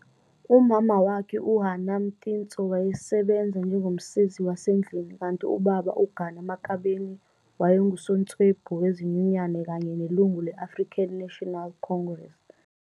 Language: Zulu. Umama wakhe uHanna Mtintso wayesebenza njengomsizi wasendlini kanti ubaba uGana Makabeni wayengusotswebhu wezinyunyana kanye nelungu le African National Congress.